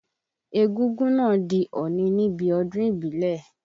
Egúngún náà di ọ̀nì níbi ọdún ìbílẹ̀.